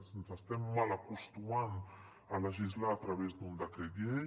ens estem malacostumant a legislar a través d’un decret llei